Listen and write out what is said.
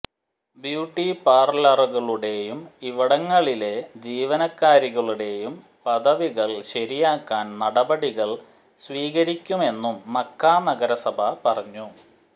beauty പാർലറുകളുടെയും ഇവിടങ്ങളിലെ ജീവനക്കാരികളുടെയും പദവികൾ ശരിയാക്കാൻ നടപടികൾ സ്വീകരിക്കുമെന്നും മക്കാ നഗരസഭ പറഞ്ഞു